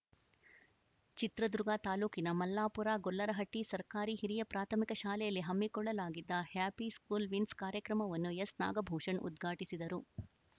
ಚಿತ್ರದುರ್ಗ ತಾಲೂಕಿನ ಮಲ್ಲಾಪುರ ಗೊಲ್ಲರಹಟ್ಟಿಸರ್ಕಾರಿ ಹಿರಿಯ ಪ್ರಾಥಮಿಕ ಶಾಲೆಯಲ್ಲಿ ಹಮ್ಮಿಕೊಳ್ಳಲಾಗಿದ್ದ ಹ್ಯಾಪಿ ಸ್ಕೂಲ್‌ ವಿನ್ಸ್‌ ಕಾರ್ಯಕ್ರಮವನ್ನು ಎಸ್‌ನಾಗಭೂಷಣ್‌ ಉದ್ಘಾಟಿಸಿದರು